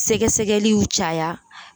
Sɛgɛsɛgɛliw caya